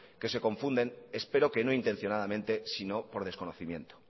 que se confunden espero que no intencionadamente si no por desconocimiento